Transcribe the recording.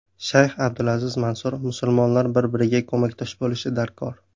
Shayx Abdulaziz Mansur: Musulmonlar bir-biriga ko‘makdosh bo‘lishi darkor.